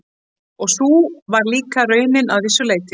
Og sú var líka raunin að vissu leyti.